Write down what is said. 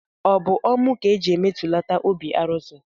O bu ọmụ ka e ji emejulata obi arụsị?